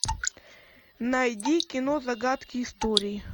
найди кино загадки истории